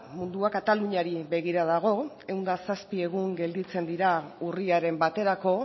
mundua kataluniari begira dago ehun eta zazpi egun gelditzen dira urriaren baterako